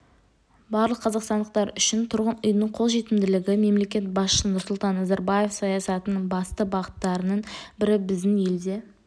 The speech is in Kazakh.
барлық қазақстандықтар үшін тұрғын үйдің қолжетімділігі мемлекет басшысы нұрсұлтан назарбаев саясатының басты бағыттарының бірі біздің елде